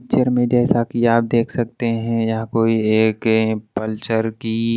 picture में जैसा कि आप देख सकते हैं यहां कोई एक अ पल्चर की--